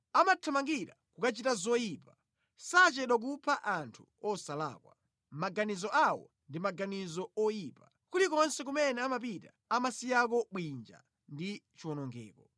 Amathamangira kukachita zoyipa; sachedwa kupha anthu osalakwa. Maganizo awo ndi maganizo oyipa; kulikonse kumene amapita amasiyako bwinja ndi chiwonongeko.